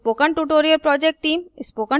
spoken tutorials का उपयोग करके कार्यशालाएँ भी चलाती है